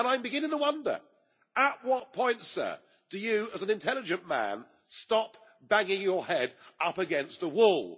I am beginning to wonder at what point, sir, do you as an intelligent man stop banging your head up against a wall?